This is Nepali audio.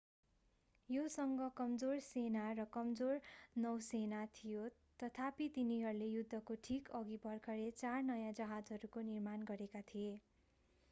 योसँग कमजोर सेना र कमजोर नौसेना थियो तथापि तिनीहरूले युद्धको ठीक अघि भर्खरै चार नयाँ जहाजहरूको निर्माण गरेका थिए